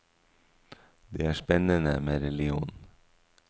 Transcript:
Det er spennende med religion.